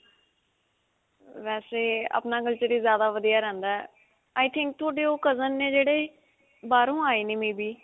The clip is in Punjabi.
ਵੈਸੇ, ਅਪਣਾ culture ਹੀ ਜਿਆਦਾ ਵਧੀਆ ਰਹਿੰਦਾ ਹੈ, i think, ਤੁਹਾਡੇ ਉਹ cousin ਨੇ ਜਿਹੜੇ, ਬਾਹਰੋਂ ਆਏ ਨੇ may be.